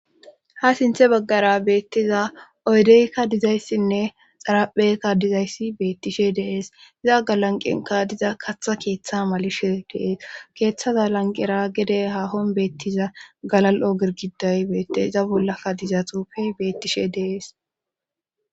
Ha sinthe baggara beettiza oydeykka dizayssinne xarapheykka dizayssi beettishe deees iza galanqenka diza katha keeththa malishe deees keeththaza lanqera gede hahon beettiza galal7o gergiday beette iza bollaka diza tufey bettishe dees.